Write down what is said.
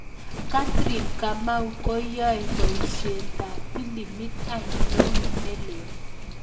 Catherine Kamau koyae boiisietap pilimit ainon nelel